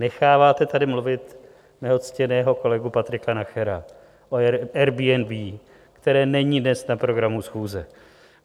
Necháváte tady mluvit mého ctěného kolegu Patrika Nachera o Airbnb, které není dnes na programu schůze.